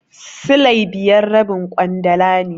Silai biyar rabin ƙwandala ne.